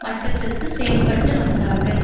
மட்டத்திற்கு செயல்பட்டு வந்தார்கள்